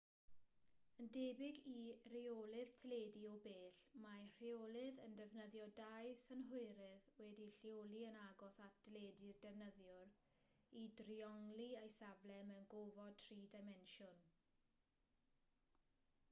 yn debyg i reolydd teledu o bell mae'r rheolydd yn defnyddio dau synhwyrydd wedi'u lleoli yn agos at deledu'r defnyddiwr i driongli ei safle mewn gofod tri dimensiwn